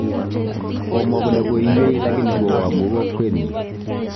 Komwa kole koiywei lakini kowo amu kolkwenyi